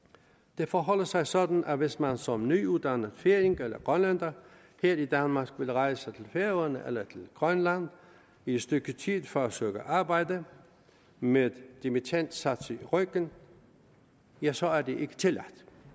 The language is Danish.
det forholder sig sådan at hvis man som nyuddannet færing eller grønlænder her i danmark vil rejse til færøerne eller til grønland i et stykke tid for at søge arbejde med dimittendsatsen i ryggen ja så er det ikke tilladt